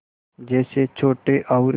जैसे छोटे और